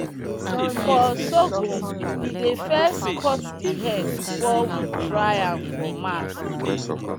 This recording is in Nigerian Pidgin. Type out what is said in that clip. for sorghum we dey first cut the head before we dry am for mat.